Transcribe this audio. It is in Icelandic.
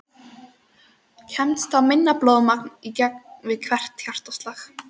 Kemst þá minna blóðmagn í gegn við hvert hjartaslag.